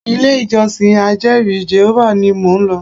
Ilé ìjọsìn ajeri Jèhófà ní mo ń lọ.